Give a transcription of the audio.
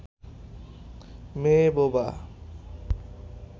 মেয়ে বোবা